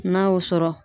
N'a y'o sɔrɔ